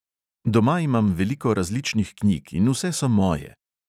Doma imam veliko različnih knjig in vse so moje.